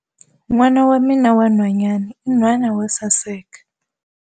N'wana wa mina wa nhwanyana i nhwana wo saseka